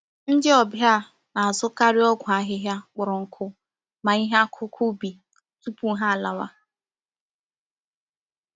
Ndị ọbịa na-azụkaarị ọgwụ ahịhịa kpọrọ nkụ ma ihe akụkụ ubi tupu ha alawa